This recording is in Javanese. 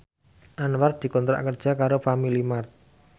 Anwar dikontrak kerja karo Family Mart